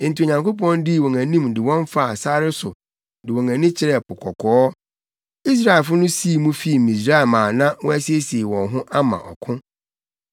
Enti Onyankopɔn dii wɔn anim de wɔn faa sare so de wɔn ani kyerɛɛ Po Kɔkɔɔ. Israelfo no sii mu fii Misraim a na wɔasiesie wɔn ho ama ɔko.